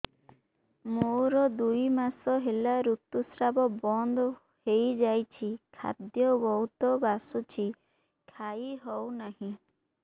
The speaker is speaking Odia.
ମୋର ଦୁଇ ମାସ ହେଲା ଋତୁ ସ୍ରାବ ବନ୍ଦ ହେଇଯାଇଛି ଖାଦ୍ୟ ବହୁତ ବାସୁଛି ଖାଇ ହଉ ନାହିଁ